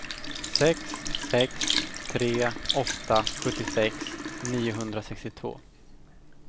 sex sex tre åtta sjuttiosex niohundrasextiotvå